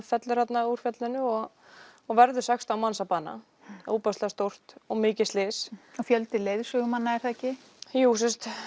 fellur þarna úr fjallinu og og verður sextán manns að bana ofboðslega stórt og mikið slys fjöldi leiðsögumanna er það ekki jú